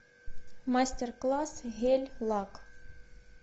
мастер класс гель лак